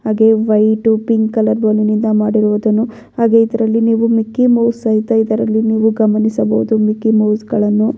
ಹಾಗೆ white pink colour ಬಲೂನ್ನಿಂದ ಮಾಡಿರುವುದನ್ನು ಹಾಗೆ ಇದರಲ್ಲಿ ನೀವು ಮಿಕ್ಕಿ ಮೌಸ್ ಸಹಿತ ಇದರಲ್ಲಿ ನೀವು ಗಮನಿಸಬಹುದು ಮಿಕ್ಕಿ ಮೌಸ್ಗಳನ್ನು .